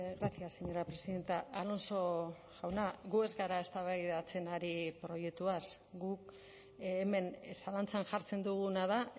gracias señora presidenta alonso jauna gu ez gara eztabaidatzen ari proiektuaz guk hemen zalantzan jartzen duguna da